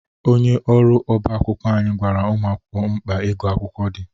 Onye ọrụ ọba akwụkwọ anyị gwara ụmụ akwụkwọ mkpa ịgụ akwụkwọ dị.